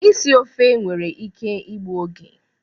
Isi ofe nwere ike igbu oge